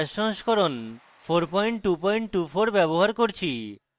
gnu bash সংস্করণ 4224 ব্যবহার করছি